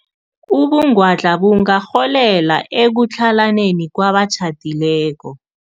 Ubungwadla bungarholela ekutlhalaneni kwabatjhadileko.